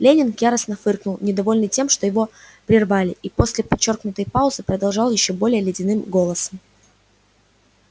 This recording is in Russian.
лэннинг яростно фыркнул недовольный тем что его прервали и после подчёркнутой паузы продолжал ещё более ледяным голосом